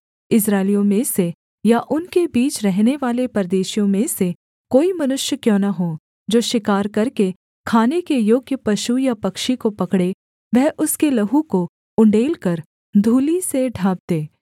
इस्राएलियों में से या उनके बीच रहनेवाले परदेशियों में से कोई मनुष्य क्यों न हो जो शिकार करके खाने के योग्य पशु या पक्षी को पकड़े वह उसके लहू को उण्डेलकर धूलि से ढाँप दे